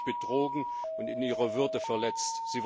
Sie fühlen sich betrogen und in ihrer Würde verletzt.